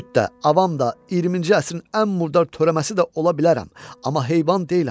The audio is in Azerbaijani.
Küt də, avam da, 20-ci əsrin ən murdar törəməsi də ola bilərəm, amma heyvan deyiləm.